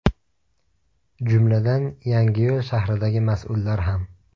Jumladan, Yangiyo‘l shahridagi mas’ullar ham.